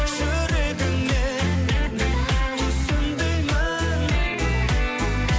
жүрегіңмен түсін деймін